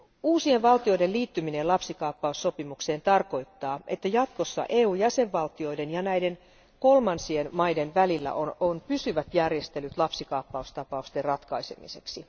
Uusien valtioiden liittyminen lapsikaappaussopimukseen tarkoittaa, että jatkossa EUn jäsenvaltioiden ja näiden kolmansien maiden välillä on pysyvät järjestelyt lapsikaappaustapausten ratkaisemiseksi.